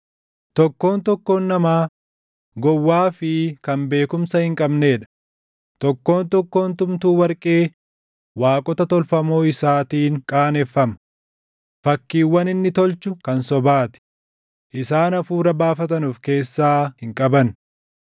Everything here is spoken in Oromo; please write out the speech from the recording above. Tokkoon tokkoon namaa gowwaa fi kan beekumsa hin qabnee dha; tokkoon tokkoon tumtuu warqee waaqota tolfamoo isaatiin qaaneffama. Fakkiiwwan inni tolchu kan sobaa ti; isaan hafuura baafatan of keessaa hin qaban.